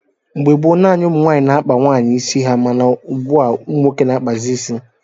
Mgbe gboo, naanị ụmụ nwaanyị na-akpa nwaanyị ịsị ha, mana ugbua umunwoke na-akpazi isi.